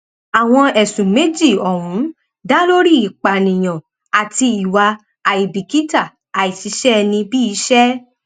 àwọn ẹsùn méjì ọhún dá lórí ìpànìyàn àti ìwà àìbìkítà àìṣiṣẹẹnibíiiṣẹ